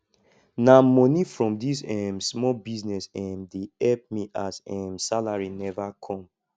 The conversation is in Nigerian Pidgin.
na moni from dis um small business um dey help me as um salary neva come